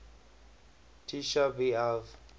tisha b av